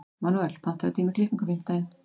Manuel, pantaðu tíma í klippingu á fimmtudaginn.